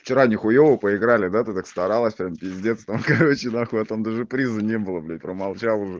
вчера не хуёво поиграли да ты так старалась прям пиздец там короче нахуй а там даже приза не было блять промолчал уже